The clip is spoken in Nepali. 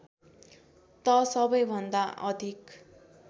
त सबैभन्दा अधिक